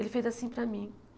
Ele fez assim para mim.